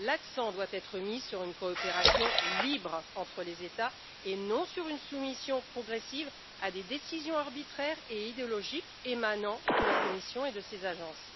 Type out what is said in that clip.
L'accent doit être mis sur une coopération libre entre les États, et non sur une soumission progressive à des décisions arbitraires et idéologiques émanant de la Commission et de ses agences.